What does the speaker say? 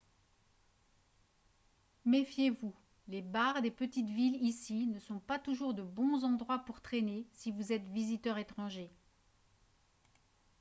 méfiez-vous les bars des petites villes ici ne sont pas toujours de bons endroits pour traîner si vous êtes visiteur étranger